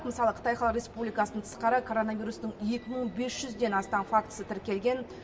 мысалы қытай халық республикасының тысқары коронавирустың екі мың бес жүзден астам фактісі тіркелген